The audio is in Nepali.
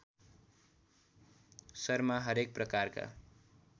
शर्मा हरेक प्रकारका